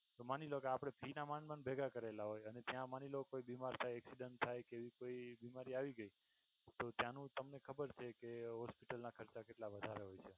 તો માની લ્યો કે આપણે fee ના માંડ માંડ ભેગા કરેલા હોય અને ત્યાં માની લ્યો કે કોઈ બીમાર થાય accident થાય એવી કોઈ બીમારી આવી ગઈ તો ત્યાંનું તમને ખબર છે કે hospital નાં ખર્ચા કેટલા બધાં હોય છે.